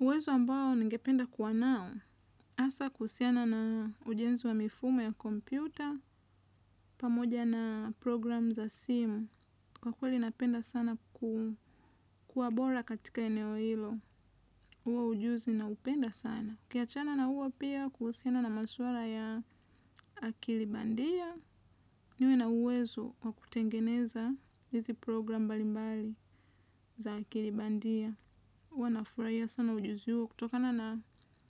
Uwezo ambao ningependa kuwa nao, hasa kuhusiana na ujenzi wa mifumo ya kompyuta, pamoja na programu za simu, kwa kweli napenda sana kuwa bora katika eneo hilo, huo ujuzi naupenda sana. Kiachana na huo pia kuhusiana na maswala ya akili bandia, niwe na uwezo wa kutengeneza hizi programu mbalimbali za akili bandia. Huwa nafurahia sana ujuzi huo kutokana na